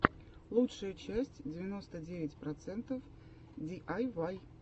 лучшая часть девяносто девять процентов диайвай